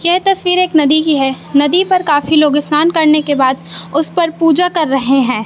ये तस्वीर एक नदी की है नदी पर काफी लोग स्नान करने के बाद उस पर पूजा कर रहे हैं।